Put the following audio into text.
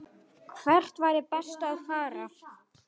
Hvert væri best að fara?